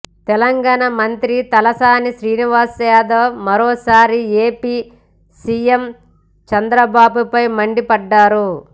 తెలంగాణ మంత్రి తలసాని శ్రీనివాస్ యాదవ్ మరోసారి AP CM చంద్రబాబుపై మండిపడ్డారు